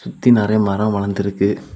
சுத்தி நிறைய மரம் வளர்ந்து இருக்கு.